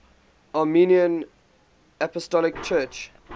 armenian apostolic church